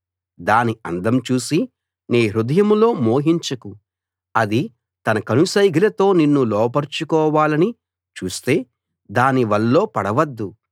దాని అందం చూసి నీ హృదయంలో మోహించకు అది తన కనుసైగలతో నిన్ను లోబరుచుకోవాలని చూస్తే దాని వల్లో పడవద్దు